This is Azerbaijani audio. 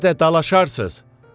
Hədə dalaşarsız.